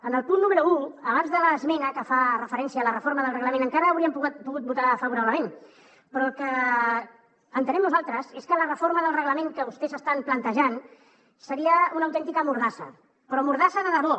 en el punt número un abans de l’esmena que fa referència a la reforma del reglament encara hi hauríem pogut votar favorablement però el que entenem nosaltres és que la reforma del reglament que vostès estan plantejant seria una autèntica mordassa però mordassa de debò